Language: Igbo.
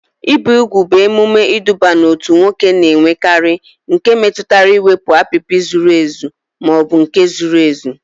Ibi úgwù bụ emume iduba n'otu nwoke na-enwekarị nke metụtara iwepụ apịpị zuru ezu ma ọ bụ nke zuru ezu.